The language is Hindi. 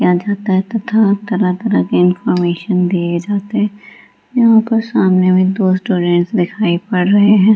किया जाता है तथा तरह तरह के इनफार्मेशन दिए जाते यहाँ पर सामने में दो रेस्टोरेंट दिखाई पड़ रहे हैं ।